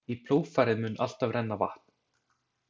Í plógfarið mun alltaf renna vatn.